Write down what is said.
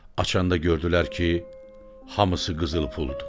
Açanda gördülər ki, hamısı qızıl puldur.